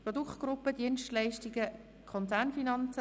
«Produktgruppe Dienstleistungen Konzernfinanzen.